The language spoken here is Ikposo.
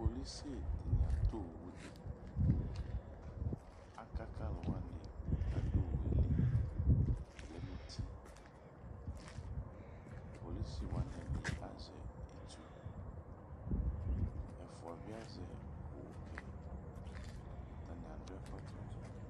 polisi dini atɔ awʋ di, aka k'alʋwani k'adʋ owʋ yɛ li ʋlɛ n'uti Polisiwani ɛdi azɛ itsu, ɛfua bi azɛ owʋ ke, atani adʋ ɛkɔtɔ dzaa